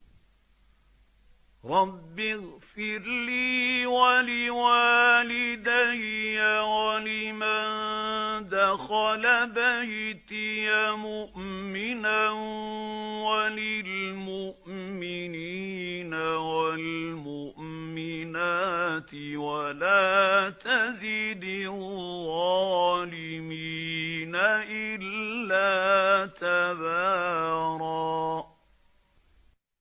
رَّبِّ اغْفِرْ لِي وَلِوَالِدَيَّ وَلِمَن دَخَلَ بَيْتِيَ مُؤْمِنًا وَلِلْمُؤْمِنِينَ وَالْمُؤْمِنَاتِ وَلَا تَزِدِ الظَّالِمِينَ إِلَّا تَبَارًا